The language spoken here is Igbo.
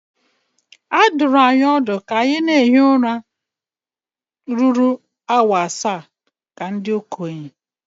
A dụrụ anyị ọdụ ka anyị na-ehi ụra ọ dịkarịa ala awa asaa ka ndị okenye